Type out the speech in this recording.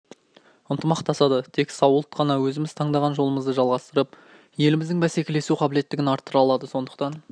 ынтымақтасады тек сау ұлт қана өзіміз таңдаған жолымыздды жалғастырып еліміздің бәсекелесу қабілеттілігін арттыра алады сондықтан